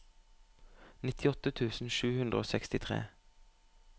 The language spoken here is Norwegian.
nittiåtte tusen sju hundre og sekstitre